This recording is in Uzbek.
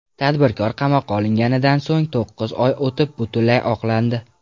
Tadbirkor qamoqqa olinganidan so‘ng to‘qqiz oy o‘tib, butunlay oqlandi.